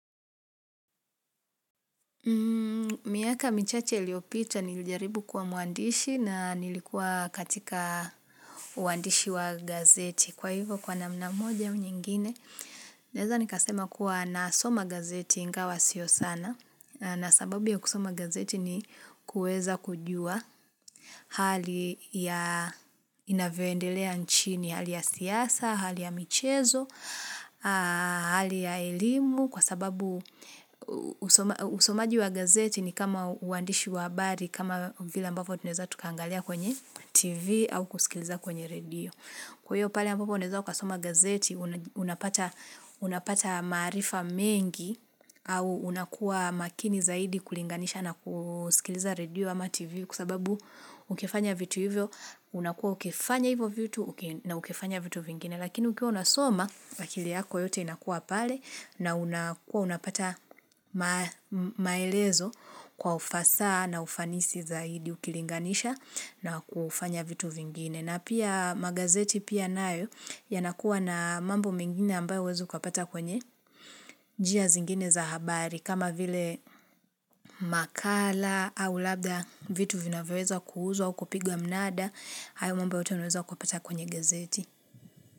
Miaka michache liopita nilijaribu kwa mwandishi na nilikuwa katika uandishi wa gazeti. Kwa hivyo kwa namna moja au nyingine, naweza nikasema kuwa nasoma gazeti ingawa sio sana. Na sababu ya kusoma gazeti ni kuweza kujua hali ya inavyoendelea nchini, hali ya siasa, hali ya michezo, hali ya elimu. Kwa sababu usomaji wa gazeti ni kama uandishi wa habari kama vile ambavyo tuneza tukaangalia kwenye tv au kusikiliza kwenye radio. Kwayo pale ambapo unaweza ukasoma gazeti unapata maarifa mengi au unakuwa makini zaidi kulinganisha na kusikiliza radio ama tv kwa sababu ukifanya vitu hivyo unakuwa ukifanya hivyo vitu na ukifanya vitu vingine lakini ukiwa unasoma akili yako yote inakuwa pale na unakua unapata maelezo kwa ufasaha na ufanisi zaidi ukilinganisha na kufanya vitu vingine. Na pia magazeti pia nayo ya nakuwa na mambo mingine ambayo huwezi kupata kwenye njia zingine za habari. Kama vile makala au labda vitu vinaweza kuuzwa au kupigwa mnada, hayo mambo unoweza kupata kwenye gazeti.